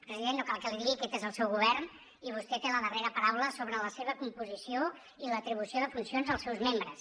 president no cal que l’hi digui aquest és el seu govern i vostè té la darrera paraula sobre la seva composició i l’atribució de funcions als seus membres